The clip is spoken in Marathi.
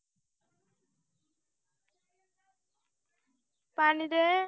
पाणी दे